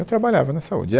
Eu trabalhava na saúde.